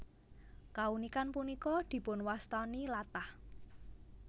Kaunikan punika dipunwastani latah